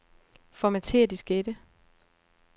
Formatér diskette.